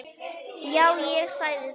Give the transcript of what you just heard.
Já, ég sagði það.